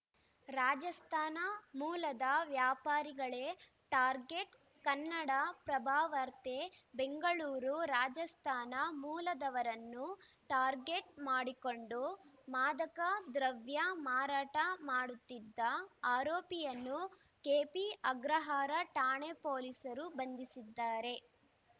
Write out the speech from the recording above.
ರಾಜಸ್ಥಾನ ಮೂಲದ ವ್ಯಾಪಾರಿಗಳೇ ಟಾರ್ಗೆಟ್‌ ಕನ್ನಡಪ್ರಭವಾರ್ತೆ ಬೆಂಗಳೂರು ರಾಜಸ್ಥಾನ ಮೂಲದವರನ್ನು ಟಾರ್ಗೆಟ್‌ ಮಾಡಿಕೊಂಡು ಮಾದಕ ದ್ರವ್ಯ ಮಾರಾಟ ಮಾಡುತ್ತಿದ್ದ ಆರೋಪಿಯನ್ನು ಕೆಪಿಅಗ್ರಹಾರ ಠಾಣೆ ಪೊಲೀಸರು ಬಂಧಿಸಿದ್ದಾರೆ